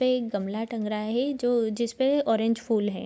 पे एक गमला टंग रहा है जो जिसपे ऑरेंज फूल हैं ।